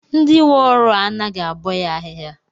Ndị nwe ọrụ a anaghị abọ ya ahịhịa?